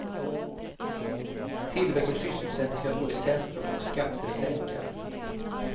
Tillväxt och sysselsättning ska stå i centrum och skatter sänkas.